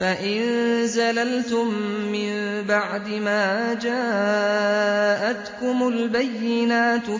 فَإِن زَلَلْتُم مِّن بَعْدِ مَا جَاءَتْكُمُ الْبَيِّنَاتُ